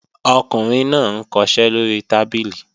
Ọkùnrin náà ń kọṣẹ́ lóri tábìlì